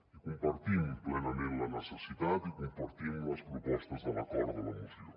i compartim plenament la necessitat i compartim les propostes de l’acord de la moció